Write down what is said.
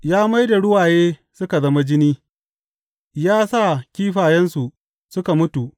Ya mai da ruwaye suka zama jini, ya sa kifayensu suka mutu.